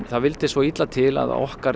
það vildi svo illa til að okkar